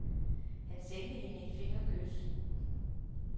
Han sendte hende et fingerkys.